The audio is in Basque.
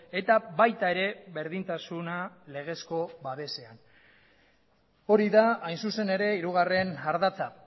eta baita ere berdintasuna legezko babesean hori da hain zuzen ere hirugarren ardatza